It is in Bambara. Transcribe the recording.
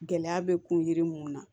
Gɛlɛya bɛ kun yiri mun na